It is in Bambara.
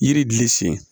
Yiri sen